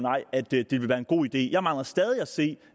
at det det vil være en god idé jeg mangler stadig at se